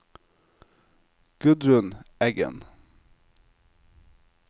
Gudrun Eggen